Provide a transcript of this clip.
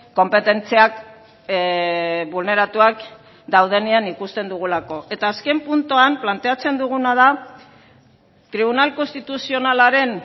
konpetentziak bulneratuak daudenean ikusten dugulako eta azken puntuan planteatzen duguna da tribunal konstituzionalaren